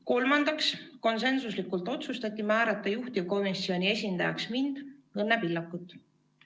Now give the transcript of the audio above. Kolmandaks, konsensuslikult otsustati määrata juhtivkomisjoni esindajaks mind, Õnne Pillakut.